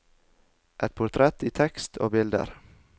Et portrett i tekst og bilder.